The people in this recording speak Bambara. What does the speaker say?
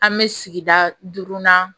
An bɛ sigida duurunan